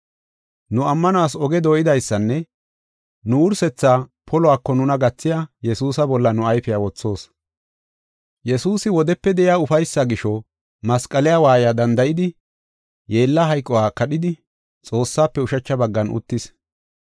Nu ammanuwas oge dooydaysanne nu wursetha poluwako nuna gathiya Yesuusa bolla nu ayfiya wothoos. Yesuusi wodepe de7iya ufaysaa gisho masqaliya waayiya danda7idi, yeella hayquwa kadhidi, Xoossaafe ushacha baggan uttis.